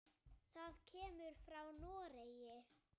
Það kemur frá Noregi.